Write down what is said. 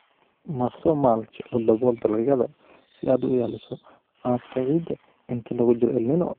Marso mulch oo dabool dalagyada si aad u ilaaliso qaabka ciidda inta lagu jiro El Niño